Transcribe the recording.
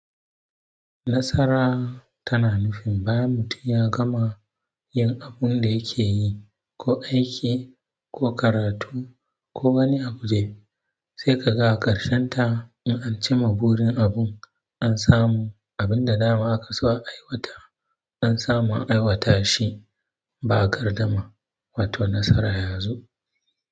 Nasara tana nufin bayan mutum ya gama yin abun da yake yi, ko aiki ko karatu ko wani abu dai. Sai ka ga a ƙarshen ta yakan cimma burin abun, an samu abin da dama aka so a aiwata, an samu an aiwata shi ba gardama, wato nasara ya zo.